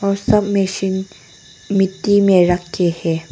सब मशीन मिट्टी में रखी हैं।